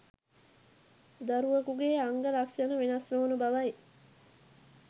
දරුවෙකුගේ අංග ලක්ෂණ වෙනස් නොවන බවයි